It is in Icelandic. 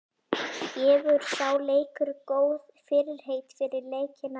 Gefur sá leikur góð fyrirheit fyrir leikina í riðlinum?